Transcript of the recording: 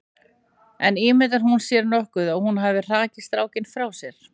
En ímyndar hún sér nokkuð að hún hafi hrakið strákinn frá sér?